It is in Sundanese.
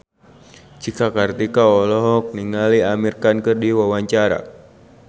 Cika Kartika olohok ningali Amir Khan keur diwawancara